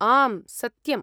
आम्, सत्यम्।